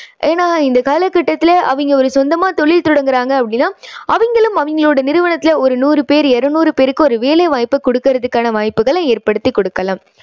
ஏன்னா இந்தக் காலக்கட்டத்துல அவங்க ஒரு சொந்தமா தொழில் தொடங்குறாங்க அப்படின்னா அவங்களும் அவங்களோட நிறுவனத்துல ஒரு நூறு பேர் இருநூறு பேருக்கு ஒரு வேலை வாய்ப்பு குடுக்கறதுக்கான வாய்ப்புகளை ஏற்படுத்திக் கொடுக்கலாம்.